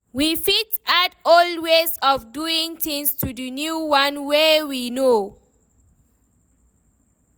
We fit add old ways of doing things to the new one wey we know